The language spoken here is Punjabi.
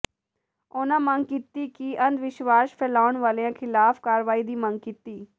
ਉਨ੍ਹਾਂ ਮੰਗ ਕੀਤੀ ਕਿ ਅੰਧਵਿਸ਼ਵਾਸ ਫੈਲਾਉਣ ਵਾਲਿਆਂ ਖਿਲਾਫ਼ ਕਾਰਵਾਈ ਦੀ ਮੰਗ ਕੀਤੀ